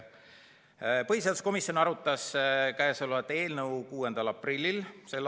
Põhiseaduskomisjon arutas käesolevat eelnõu 6. aprillil s.